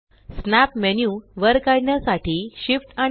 snap menu वर काढण्यासाठी Shift आणि स्